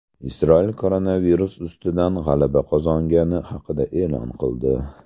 Isroil koronavirus ustidan g‘alaba qozongani haqida e’lon qildi.